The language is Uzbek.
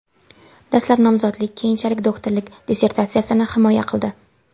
Dastlab nomzodlik, keyinchalik doktorlik dissertatsiyasini himoya qildi.